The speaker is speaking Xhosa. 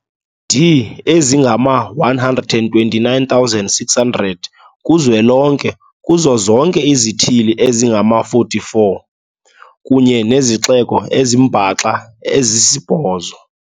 di ezingama-129 600 ku-zwelonke, kuzo zonke izithili ezingama-44 kunye nezixeko ezimbaxa ezisibhozo.